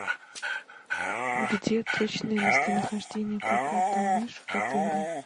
где точное местонахождение проката лыж в отеле